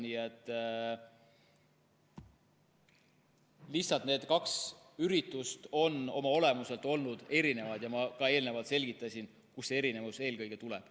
Nii et lihtsalt need kaks üritust olid oma olemuselt erinevad ja ma ka eelnevalt selgitasin, kust erinevus eelkõige tuleb.